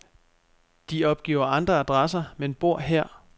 De opgiver andre adresser, men bor her.